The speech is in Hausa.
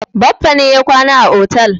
Baffa ne ya kwana a otel.